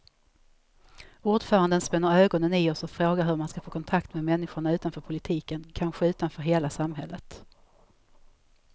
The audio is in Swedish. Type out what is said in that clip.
Ordföranden spänner ögonen i oss och frågar hur man ska få kontakt med människorna utanför politiken, kanske utanför hela samhället.